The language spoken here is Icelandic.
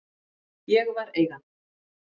Ég var Eigandinn.